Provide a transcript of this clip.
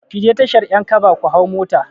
Ki je tashar 'yankaba ku hau mota.